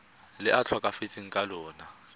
le a tlhokafetseng ka lona